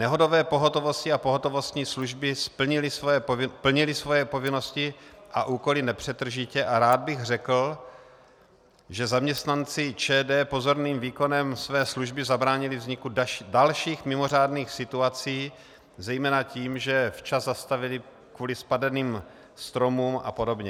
Nehodové pohotovosti a pohotovostní služby plnily svoje povinnosti a úkoly nepřetržitě a rád bych řekl, že zaměstnanci ČD pozorným výkonem své služby zabránili vzniku dalších mimořádných situací zejména tím, že včas zastavili kvůli spadaným stromům a podobně.